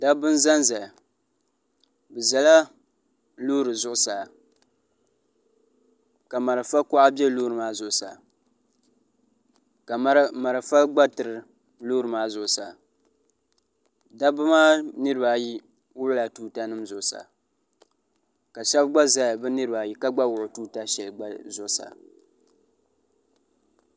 dabba n ʒɛnʒɛya bi ʒɛla loori zuɣusaa ka marafa kuɣa bɛ loori maa zuɣusaa ka marafa gba tiri loori maa zuɣusaa dabba maa niraba ayi gbubila tuuta nim zuɣusaa ka shab gba ʒɛya bi niraba ayi ka gba wuɣi tuuta shɛli zuɣusaa